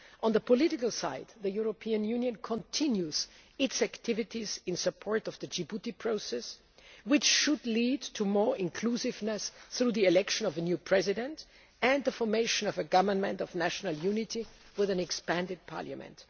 process. On the political side, the European Union continues its activities in support of the Djibouti process, which should lead to more inclusiveness through the election of a new president and the formation of a government of national unity with an expanded parliament.